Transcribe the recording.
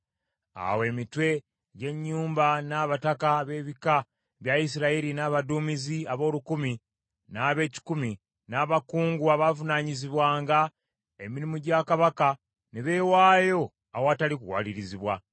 Awo emitwe gy’ennyumba, n’abataka b’ebika bya Isirayiri, n’abaduumizi ab’olukumi n’ab’ekikumi, n’abakungu abaavunaanyizibwanga emirimu gya kabaka, ne beewaayo awatali kuwalirizibwa.